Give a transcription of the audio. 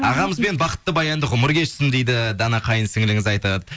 ағамызбен бақытты баянды ғұмыр кешсін дейді дана қайын сіңіліңіз айтады